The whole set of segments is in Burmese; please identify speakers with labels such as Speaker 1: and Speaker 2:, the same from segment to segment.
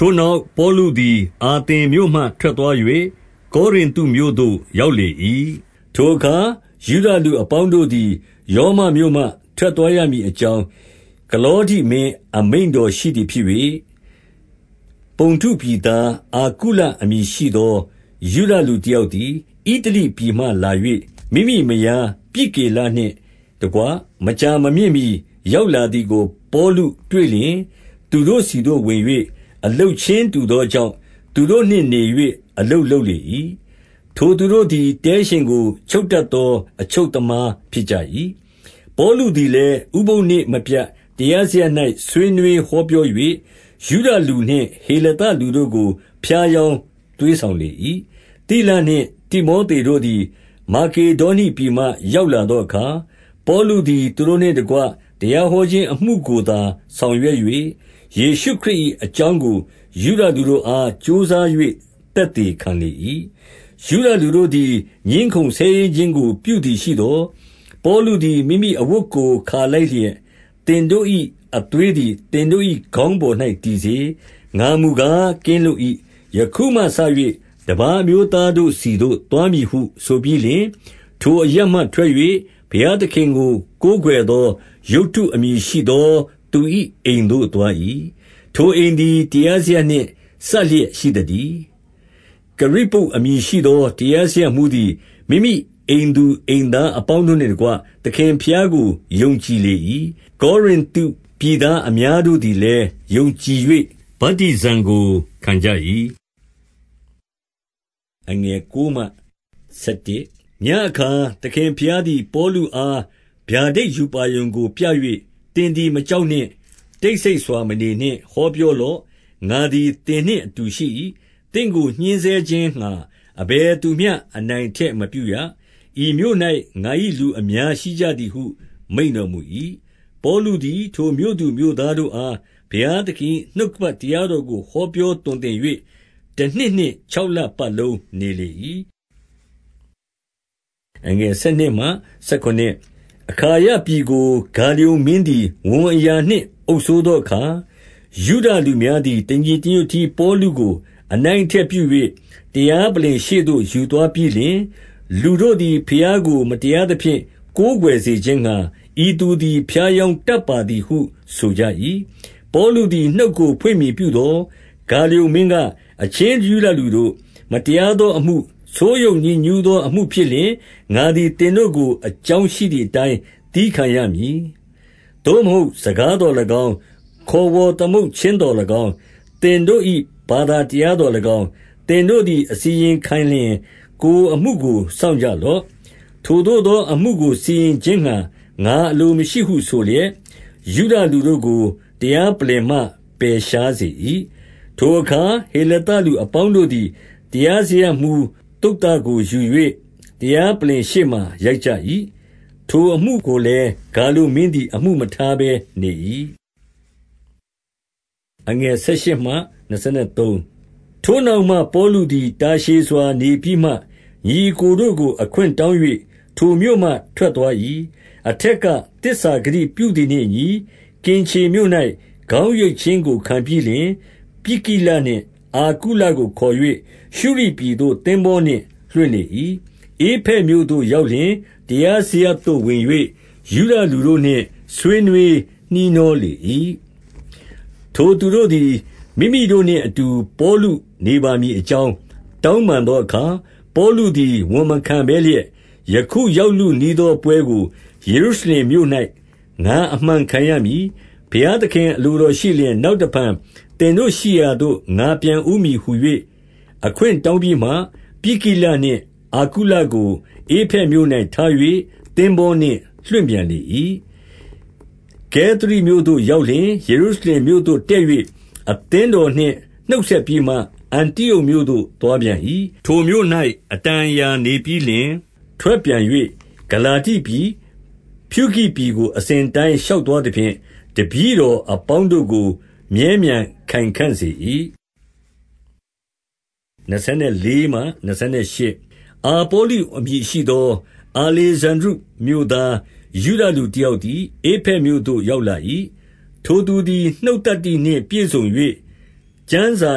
Speaker 1: ထိုနောက် ပေါလုသည် အာသင်မြို့မှ ထွက်သွား ၍ ကောရိန္တု မြို့သို့ရောက်လေ၏။ ထိုအခါယုဒလူအပေါင်းတို့သည် ရောမမြို့မှ ထွက်သွားရမည်အကြောင်း၊ ကလောဒိမင်း အမိန့်တော်ရှိ သည်ဖြစ်၍၊ ပုန္တုပြည်သား အာကုလအမည်ရှိသော ယုဒလူတယောက်သည် ဣတလိပြည်မှလာ၍၊ မိမိမယား ပြစ်ကိလနှင့်တကွမကြာမမြင့်မှီ ရောက်လာသည်ကို ပေါလုတွေ့လျှင်သူတို့ဆီသို့ဝင်၍၊ အလုပ်ချင်းတူသောကြောင့်၊ သူတို့နှင့်နေ၍ အလုပ်လုပ်လေ၏။ ထိုသူတို့သည် တဲရှင်ကိုချုပ်တတ် သော အချုပ်သမားဖြစ်ကြ၏။ ပေါလုသည်လည်း ဥပုသ်နေ့မပြတ် တရားစရပ်၌ ဆွေးနွေး ဟောပြော၍၊ ယုဒလူနှင့်ဟေလသလူတို့ကို ဖြားယောင်းသွေးဆောင်လေ၏။ သိလနှင့် တိမောသေတို့သည် မာကေဒေါနိပြည်မှ ရောက်လာသောအခါ၊ ပေါလုသည် သူတို့နှင့်တကွ တရားဟောခြင်းအမှုကိုသာ ဆောင်ရွက်၍၊ ယေရှုခရစ်၏ အကြောင်းကို ယုဒလူတို့အား ကြိုးစား၍ သက်သေခံလေ၏။ ယုဒလူတို့သည် ငြင်းခုံဆဲရေးခြင်းကို ပြုသည် ရှိသော်၊ ပေါလု သည် မိမိအဝတ်ကိုခါလိုက်လျက်၊ သင်တို့၏ အသွေးသည် သင်တို့၏ ခေါင်းပေါ်၌တည်စေ။ ငါမူကား ကင်းလွတ်၏။ ယခုမှစ၍ တပါးအမျိုးသားတို့ဆီသို့ သွားမည်ဟု ဆိုပြီးလျှင်၊ ထိုအရပ်မှထွက်၍ ဘုရားသခင်ကို ကိုးကွယ် သော ယုတ္တု အမည်ရှိသောသူ၏ အိမ်သို့သွား၏။ ထိုအိမ်သည် တရားစရပ်နှင့် စပ်လျက်ရှိသတည်း။ ကရိပ္ပုအမည်ရှိသောတရားစရပ်မှူးသည် မိမိအိမ်သူအိမ်သား အပေါင်းတို့နှင့်တကွ သခင်ဘုရားကို ယုံကြည်လေ၏။ ကောရိန္တုပြည်သားအများတို့သည် လည်း ယုံကြည်၍ ဗတ္တိဇံကိုခံကြ၏။ ညဉ့်အခါ သခင်ဘုရားသည် ပေါလုအား ဗျာ ဒိတ် ရူပါရုံကိုပြ၍၊ သင်သည်မကြောက်နှင့်။ တိတ်ဆိတ် စွာမနေနှင့်။ ဟောပြောလော့။ ငါသည်သင်နှင့်အတူရှိ၏။ သင့်ကိုညှဉ်းဆဲခြင်း ငှါ အဘယ်သူမျှ အနိုင်အထက်မပြုရ။ ဤမြို့၌ငါ၏ လူအများရှိကြသည်ဟု မိန့်တော်မူ၏။ ပေါလုသည် ထိုမြို့သူမြို့သားတို့အား ဘုရား သခင်၏ နှုတ်ကပတ်တရားတော်ကို ဟောပြော သွန်သင် ၍ တနှစ်နှင့်ခြောက်လ ပတ်လုံးနေလေ၏။ အခါယပြည်ကို ဂါလျန်မင်းသည် ဝန်အရာနှင့် အုပ်စိုးသောအခါ ယုဒလူများသည် တညီတညွတ်တည်း ပေါလုကို အနိုင်အထက် ပြု၍ တရားပလ္လင်ရှေ့သို့ ယူသွားပြီးလျှင်၊ လူတို့သည် ဘုရားကိုမတရားသဖြင့် ကိုးကွယ် စေခြင်းငှါ၊ ဤသူသည် ဖြားယောင်းတတ်ပါသည် ဟုဆိုကြ၏။ ပေါလုသည် နှုတ်ကိုဖွင့်မည်ပြုသော်၊ ဂါလျုန်မင်းက၊ အချင်း ယုဒလူတို့၊ မတရားသောအမှု၊ ဆိုးယုတ်ညစ်ညူးသောအမှုဖြစ်လျှင်၊ ငါသည်သင်တို့ကို အကြောင်းရှိ သည်အတိုင်းသည်းခံရမည်။ သို့မဟုတ် စကားသော်၎င်း၊ ခေါ်ဝေါ်သမုတ်ခြင်းသော်၎င်း၊ သင်တို့၏ဘာသာတရားသော်၎င်း၊ သင်တို့သည်အစီရင်ခံလျှင် ကိုယ်အမှုကို စောင့်ကြလော့။ ထိုသို့သော အမှုကိုစီရင်ခြင်းငှါ ငါအလိုမရှိ ဟုဆိုလျက်၊ ယုဒလူတို့ကို တရားပလ္လင်မှ ပယ်ရှားစေ၏။ ထိုအခါ ဟေလသလူအပေါင်းတို့သည် တရားစရပ်မှူး သုဿင်ကိုယူ၍ တရားပလ္လင် ရှေ့မှာ ရိုက်ကြ၏။ ထိုအမှုကိုလည်း ဂါလျန်မင်းသည် အမှုမထား ဘဲနေ၏။ ထိုနောက်မှပေါလုသည် တာရှည်စွာနေပြီးမှ ညီအစ်ကိုတို့ကို အခွင့်တောင်း၍ ထိုမြို့မှထွက်သွား၏။ အထက်ကသစ္စာဂတိပြုသည်နှင့် အညီ ကင်ခြေမြို့၌ ခေါင်းရိတ်ခြင်းကိုခံပြီးလျှင်၊ ပြစ်ကိလနှင့် အာကုလကို ခေါ်၍ ရှုရိပြည်သို့သင်္ဘောနှင့် လွှင့်လေ၏။ ဧဖက်မြို့သို့ရောက်လျှင်၊ တရားစရပ်သို့ဝင်၍ ယုဒလူတို့နှင့် ဆွေးနွေးနှီးနှောလေ၏။ ထိုသူတို့သည် မိမိတို့နှင့် အတူပေါလု နေပါဦးမည်အကြောင်း တောင်းပန်သောအခါ၊ ပေါလုသည် ဝန်မခံဘဲလျက်၊ ယခုရောက်လုနီးသောပွဲကိုယေရုရှလင်မြို့၌ ငါအမှန်ခံရမည်။ ဘုရားသခင်အလိုတော်ရှိလျှင်၊ နောက် တဖန်သင်တို့ရှိရာသို့ ငါပြန်ဦးမည်ဟူ၍ အခွင့်တောင်းပြီးမှ၊ ပြစ်ကိလနှင့် အာကုလကို ဧဖက်မြို့၌ ထား၍ သင်္ဘောနှင့်လွှင့်ပြန်လေ၏။ ကဲသရိမြို့သို့ရောက်လျှင် ယေရုရှလင်မြို့သို့ တက်၍ အသင်းတော်နှင့် နှုတ်ဆက်ပြီးမှ အန္တိအုတ်မြို့ သို့သွားပြန်၏။ ထိုမြို့၌ အတန်အရာနေပြီးလျှင်၊ ထွက်ပြန်၍ ဂလာတိပြည်၊ ဖြူဂိပြည်ကို အစဉ်အတိုင်း ရှောက်သွား သဖြင့်၊ တပည့်တော်အပေါင်း တို့ကို မြဲမြံခိုင်ခံ့စေ၏။ အာပေါလုအမည်ရှိသော အာလေဇန္ဒြိမြို့သား၊ ယုဒလူ တယောက်သည် ဧဖက်မြို့သို့ရောက်လာ၏။ ထိုသူသည် နှုတ်သတ္တိနှင့် ပြည့်စုံ၍ ကျမ်းစာ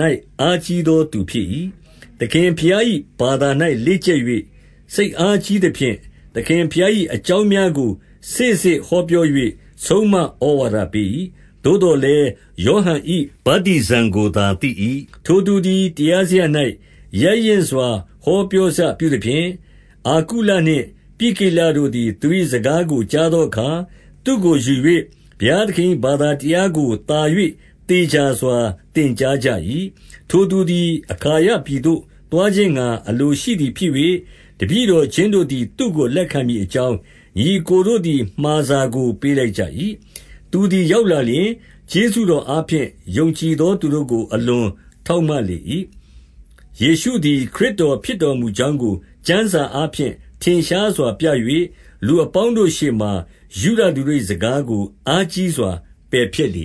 Speaker 1: ၌ အားကြီးသောသူဖြစ်၏။ သခင်ဘုရား၏ဘာသာ၌လေ့ကျက်၍ စိတ်အားကြီးသဖြင့်၊ သခင်ဘုရား၏ အကြောင်းများကို စေ့စေ့ဟောပြော၍ ဆုံးမဩဝါဒပေး၏။ သို့သော်လည်း၊ ယောဟန်၏ ဗတ္တိဇံကိုသာသိ၏။ ထိုသူသည် တရားစရပ်၌ ရဲရင့်စွာ ဟောပြောစပြုသဖြင့်၊ အာကုလနှင့် ပြစ်ကိလတို့သည် သူ၏စကားကို ကြားသောအခါ၊ သူ့ကိုယူ၍ဘုရားသခင်၏ ဘာသာတရားကိုသာ၍ သေချာစွာ သင်ကြားကြ၏။ ထိုသူသည် အခါယပြည်သို့သွားခြင်းငှါ အလိုရှိ သည်ဖြစ်၍၊ တပည့်တော်ချင်းတို့သည် သူ့ကိုလက်ခံမည်အကြောင်း ညီအစ်ကိုတို့သည်မှာစာကိုပေးလိုက်ကြ၏။ သူသည်ရောက်လာလျှင်၊ ကျေးဇူးတော်အားဖြင့် ယုံကြည်သော သူတို့ကို အလွန်ထောက်မလေ၏။ ယေရှုသည်ခရစ်တော်ဖြစ်တော်မူကြောင်းကို ကျမ်းစာအားဖြင့် ထင်ရှားစွာပြ၍၊ လူအပေါင်းတို့ရှေ့မှာ ယုဒလူတို့၏စကားကို အားကြီးစွာ ပယ်ဖျက်လေ